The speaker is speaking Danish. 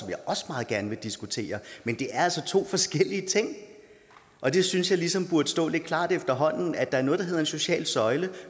jeg også meget gerne vil diskutere men det er altså to forskellige ting og det synes jeg ligesom burde stå lidt klart efterhånden altså at der er noget der hedder en social søjle og